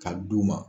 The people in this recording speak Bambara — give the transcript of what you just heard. Ka d'u ma